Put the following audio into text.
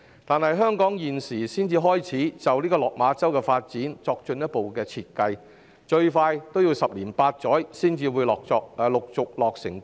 可是，香港現時才開始就落馬洲的發展作進一步設計，建設最快要十年八載才會陸續落成。